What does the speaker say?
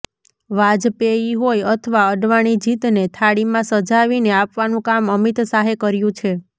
વાજપેયી હોય અથવા અડવાણી જીતને થાળીમાં સજાવીને આપવાનું કામ અમિત શાહે કર્યું છે